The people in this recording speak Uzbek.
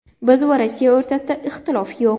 Biz va Rossiya o‘rtasida ixtilof yo‘q.